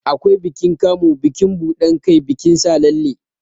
Akwai bikin Kamu, bikin buɗan kai, bikin sa lalle.